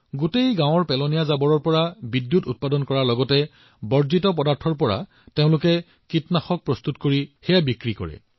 গোটেই গাওঁখনৰ পৰা আৱৰ্জনা সংগ্ৰহ কৰা হয় ই বিদ্যুৎ উৎপাদন কৰে আৰু বাকী সামগ্ৰীবোৰ কীটনাশক হিচাপেও বিক্ৰী কৰা হয়